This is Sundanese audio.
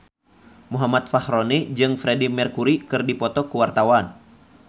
Muhammad Fachroni jeung Freedie Mercury keur dipoto ku wartawan